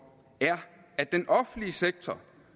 er at den offentlige sektor